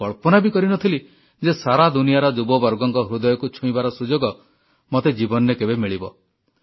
ମୁଁ କଳ୍ପନା ବି କରିନଥିଲି ଯେ ସାରା ଦୁନିଆର ଯୁବବର୍ଗଙ୍କ ହୃଦୟକୁ ଛୁଇଁବାର ସୁଯୋଗ ମତେ ଜୀବନରେ କେବେ ମିଳିବ